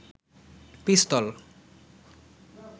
পিস্তল